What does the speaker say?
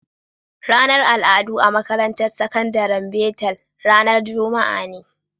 Ranar al'adu a makarantar sakandaren betel ranar Juma'a ne.